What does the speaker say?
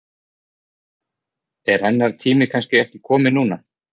Er hennar tími kannski ekki kominn núna?